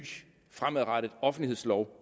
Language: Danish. fremadrettet offentlighedslov